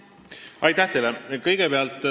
Aitäh teile!